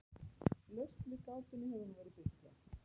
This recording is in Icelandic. lausn við gátunni hefur nú verið birt hér